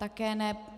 Také ne.